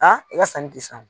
A i y'a sanni di san.